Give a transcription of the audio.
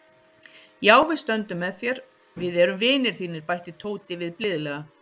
Já, við stöndum með þér, við erum vinir þínir bætti Tóti við blíðlega.